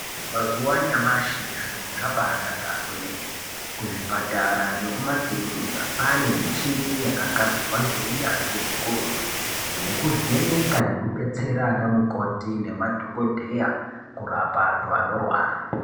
Mazuwa anyamashi zviro zvabanaka kwemene kuzvipatara nekumakirinika kwaane michini yakagadzirwa ngeunyanzvi hukurutu yekuvheneka nekubetsera anamukoti nemadhokodheya kurapa andu anorwara .